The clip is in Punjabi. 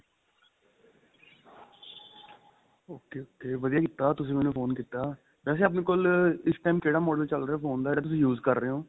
ok ok ਵਧੀਆ ਕੀਤਾ ਤੁਸੀਂ ਮੈਨੂੰ phone ਕੀਤਾ ਵੇਸੇ ਆਪਣੇ ਕੋਲ ਇਸ time ਕਿਹੜਾ model ਚੱਲ ਰਿਹਾ phone ਦਾ ਜਿਹੜਾ ਤੁਸੀਂ use ਕਰ ਰਹੇ ਹੋ